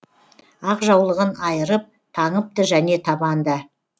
ақ жаулығын айырып таңыпты және табанда